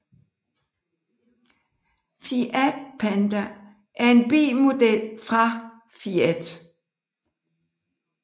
Fiat Panda er en bilmodel fra Fiat